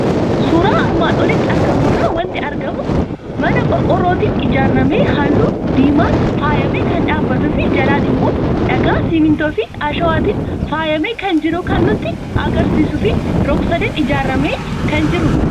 Suuraa armaan olitti argamu irraa waanti argamu; mana qorqoorrootin ijaaramee halluu diimaan faayamee kan dhaabbatufi jalaan immoo dhagaa, simmintoofi asho'aatiin faayamee kan jiru kan nutti agarsiisufi rog-sadeen ijaaramee kan jirudha.